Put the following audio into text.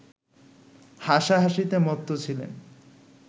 হাসা-হাসিতে মত্ত ছিলেন